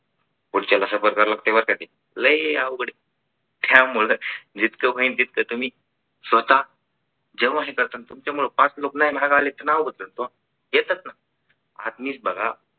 पुढचा तासभर ठेवावा लागेल आधी लय अवघड त्या त्यामुळं जितकं होईल तितका तुम्ही स्वतः चौकशी करताना तुमच्या गावात पाच लोकांना आले ते नाव होतं येतच ना